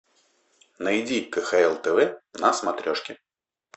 найди кхл тв на смотрешке